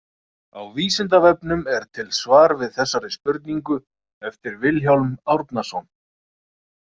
Á Vísindavefnum er til svar við þessari spurningu eftir Vilhjálm Árnason.